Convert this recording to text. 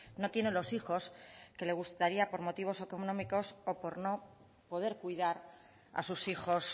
no tienen los hijos que les gustaría por motivos económicos o por no poder cuidar a sus hijos